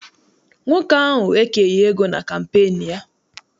Nwoke ahụ ekeghị ego na kampeenu ya.